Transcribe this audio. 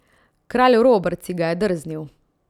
Kralj Robert si ga je drznil.